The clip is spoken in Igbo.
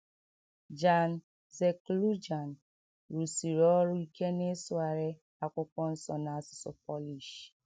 Jan Seklucjan rụsiri ọrụ ike n’ịsụgharị Akwụkwọ Nsọ n’asụsụ Polish.